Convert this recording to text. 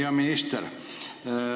Hea minister!